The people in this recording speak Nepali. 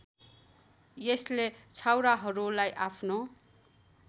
यसले छाउराहरूलाई आफ्नो